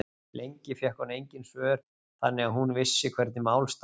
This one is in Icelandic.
Lengi fékk hún engin svör þannig að hún vissi hvernig mál stæðu.